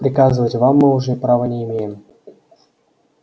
приказывать вам мы уже права не имеем